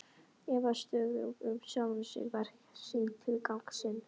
Efast stöðugt um sjálfan sig, verk sín, tilgang sinn.